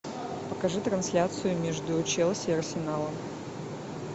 покажи трансляцию между челси и арсеналом